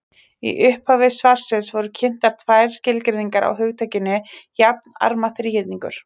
Í upphafi svarsins voru kynntar tvær skilgreiningar á hugtakinu jafnarma þríhyrningur.